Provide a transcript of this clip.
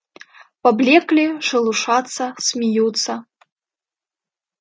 поблёкли шелушатся смеются